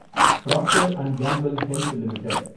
Procter and Gamble Health limited